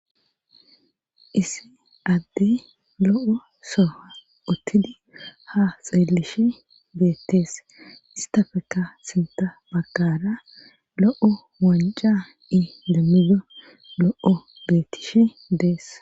Issi adde lo7o soha uttidi ha xeelish beettees istafeka sinta bagkara lo7o wanca i demmido lo7o beettishi dees